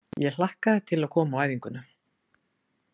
Ég hlakkaði til að koma á æfinguna.